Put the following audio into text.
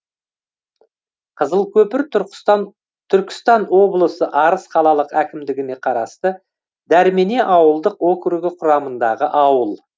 қызылкөпір түркістан облысы арыс қалалық әкімдігіне қарасты дәрмене ауылдық округі құрамындағы ауыл